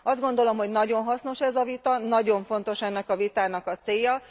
Azt gondolom, hogy nagyon hasznos ez a vita, nagyon fontos ennek a vitának a célja.